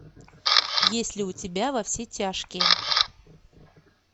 есть ли у тебя во все тяжкие